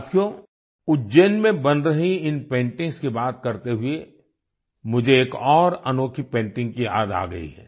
साथियो उज्जैन में बन रही इन पेंटिंग्स की बात करते हुए मुझे एक और अनोखी पेंटिंग की याद आ गई है